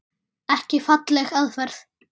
Ekki falleg aðferð.